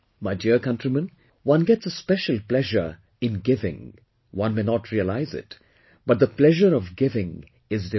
My dear countrymen, one gets a special pleasure in giving, one may not realize it, but the pleasure of giving is divine